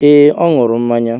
Ee, ọ ñuru mmanya